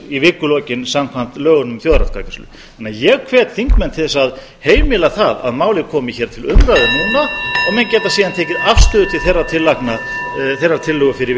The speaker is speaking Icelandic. í vikulokin samkvæmt lögunum um þjóðaratkvæðagreiðslu ég hvet þingmenn til að heimila það að máli komi hér til umræðu núna og menn geti síðan tekið afstöðu til þeirrar tillögu fyrir vikulokin